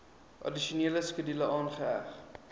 addisionele skedule aangeheg